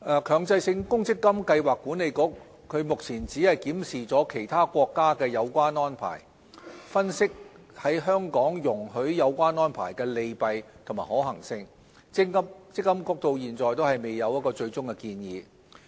強制性公積金計劃管理局只是檢視了其他國家的有關安排，分析在香港容許有關安排的利弊及可行性，積金局至今仍未有最終的建議。